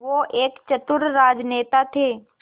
वो एक चतुर राजनेता थे